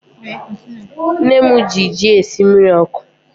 Nne mụ gị jị esị jị mmiri ọkụ